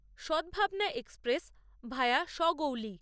Sadbhavna Express via Sagauli